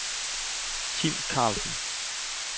Tim Karlsen